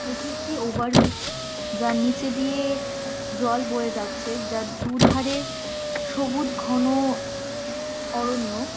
'' এটি একটি ওভারব্রিজ যার নিচে দিয়ে জল বয়ে যাচ্ছে। যার দু''''ধারে সবুজ ঘন অরণ্য। ''